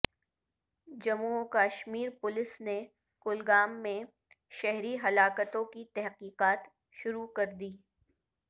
جموں وکشمیر پولیس نے کولگام میں شہری ہلاکتوں کی تحقیقات شروع کردی